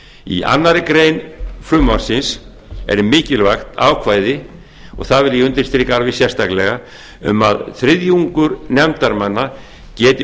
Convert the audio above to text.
í annarri grein frumvarpsins er mikilvægt ákvæði og það undirstrika ég alveg sérstaklega um að þriðjungur nefndarmanna geti